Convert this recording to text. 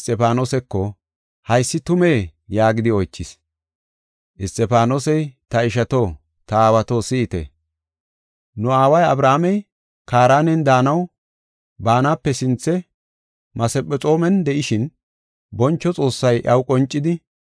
Isxifaanosey, “Ta ishato, ta aawato, si7ite! Nu aawa Abrahaamey Kaaranen daanaw baanape sinthe Masephexoomen de7ishin, boncho Xoossay iyaw qoncidi,